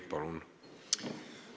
Palun!